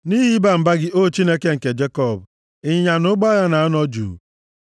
Nʼihi ịba mba gị, O Chineke nke Jekọb, ịnyịnya na ụgbọ agha na-anọ juu. + 76:6 \+xt Ọpụ 15:1-6\+xt*